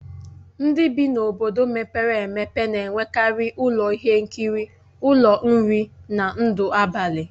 Ndị bi n'obodo mepere emepe na-enwekarị ụlọ ihe nkiri, ụlọ nri, na ndụ abalị.